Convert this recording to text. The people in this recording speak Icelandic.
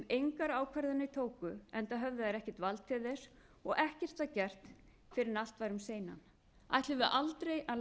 engar ákvarðanir tóku enda höfðu þær ekkert vald til þess og ekkert var gert fyrr en allt var um seinan ætlum við aldrei